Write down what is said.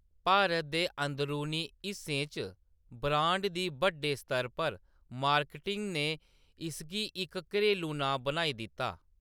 भारत दे अंदरूनी हिस्सें च ब्रांड दी बड्डे स्तर उप्पर मार्केटिंग ने इसगी इक घरेलू नांऽ बनाई दित्ता।